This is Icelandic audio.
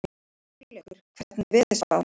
Hugleikur, hvernig er veðurspáin?